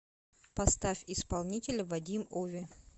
поставь исполнителя вадим ови